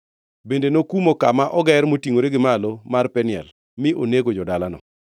Bende nomuko kama oger motingʼore gi malo mar Peniel mi onego jo-dalano.